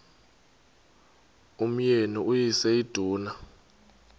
umyeni uyise iduna